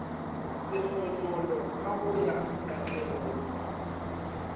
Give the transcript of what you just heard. sekgonyollo sa go ya katlegong